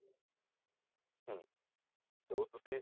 ਹਮ ਜੋ ਤੁਸੀਂ